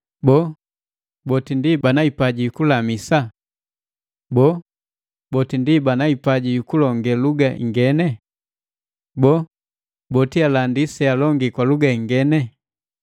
Boo, boti ndi bana hipaji yukulamisa? Boo, boti ndi bana hipaji yukulonge luga ingene? Boo, boti alandi sealongile ingene?